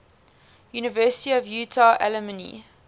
university of utah alumni